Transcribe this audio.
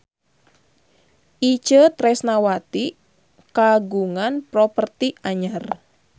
Itje Tresnawati kagungan properti anyar